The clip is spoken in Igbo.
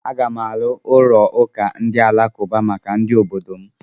Aga m arụ ụlọ ụka ndị alakụba maka ndị obodo m.